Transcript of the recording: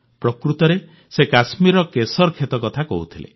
ପ୍ରକୃତରେ ସେ କଶ୍ମୀରର କେଶର ଖେତ କଥା କହୁଥିଲେ